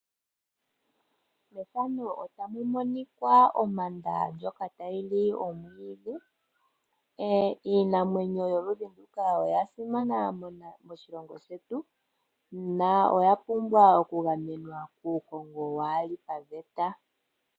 Methano otamu monika ompanda ndjoka tayi li omwiidhi iinamwenyo yoludhi nduka oya simana moshilongo shetu na oya pumbwa oku gamenwa kuukongo waali paveta.